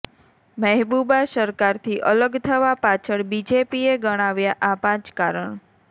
મહેબુબા સરકારથી અલગ થવા પાછળ બીજેપીએ ગણાવ્યા આ પાંચ કારણ